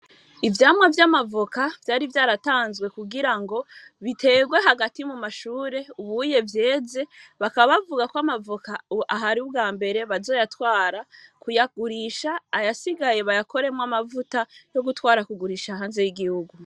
Ivyamwa vy'amavoka vyari vyaratanzwe kugira ngo biterwe hagati mu mashure ubuye vyeze bakabavuga ko amavoka ahari ubwa mbere bazoyatwara kuyagurisha ayasigaye bayakoremwo amavuta yo gutwara kugurisha hanze y'igihugu.